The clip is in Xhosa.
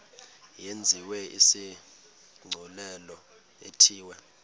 yenziwe isigculelo ithiwe